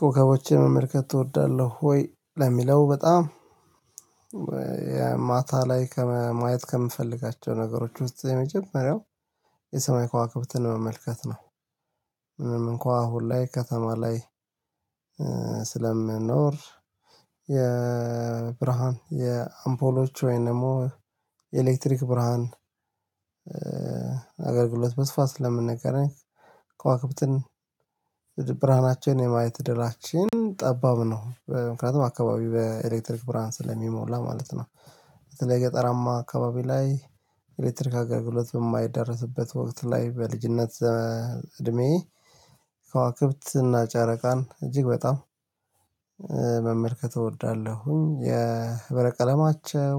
ኮከቦችን መመልከት እወዳለሁ ወይ ለሚለው በጣም የማታ ላይ ከማየት ከምፈልጋቸው ነገሮች ውስጥ የመጀመሪያው የሰማይ ከዋክብትን መመልከት ነው። ምንም እንኳን አሁን ላይ ከተማ ላይ ስለምንኖር የብርሃን የአምፖሎች ወይንም ደግሞ ኤሌክትሪክ ብርሃን በስፋት ስለምንገናኝ፣ ከዋክብትን ብርሃናቸውን የማየት እድላችን ጠባብ ነው። ምክንያቱም አካባቢ በኤሌክትሪክ ብርሃን ስለሚሞላ ማለት ነው የገጠራማ አካባቢ ላይ ኤሌክትሪክ አገልግሎት በማይደረስበት ወቅት ላይ በልጅነት እድሜ ከዋክብት እና ጨረቃን እጅግ በጣም መመልከት እወዳለሁኝ። የህበረ ቀለማቸው